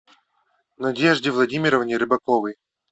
надежде владимировне рыбаковой